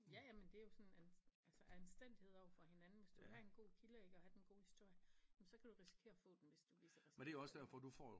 Ja ja men det er jo sådan altså anstændighed overfor hinanden hvis du vil have en god kilde ik og have den gode historie jamen så kan du risikere at få den hvis du viser respekt